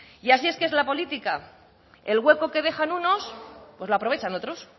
y así es que es la política el hueco que dejan unos pues lo aprovechan otros